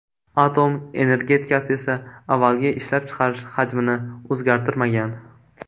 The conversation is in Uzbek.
Atom energetikasi esa avvalgi ishlab chiqarish hajmini o‘zgartirmagan.